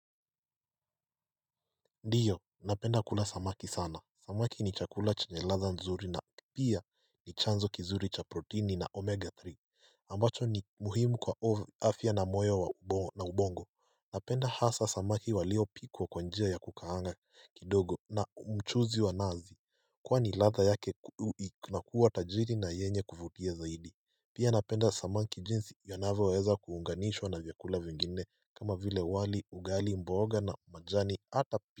Ndiyo napenda kula samaki sana samaki ni chakula cha nye ladha nzuri na pia ni chanzo kizuri cha proteini na omega three ambacho ni muhimu kwa afya na moyo na ubongo napenda hasa samaki walio pikwa kwa njia ya kukaanga kidogo na mchuzi wa nazi kwani ladha yake na kuwa tajiri na yenye kuvutia zaidi pia napenda samaki jinsi yonavyo weza kuunganishwa na vyakula vingine kama vile wali ugali mboga na majani hata pia.